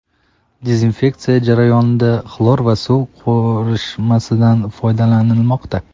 Dezinfeksiya jarayonida xlor va suv qorishmasidan foydalanilmoqda.